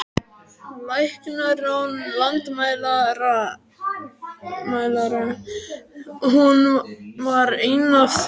Læknar án landamæra, hún var ein af þeim.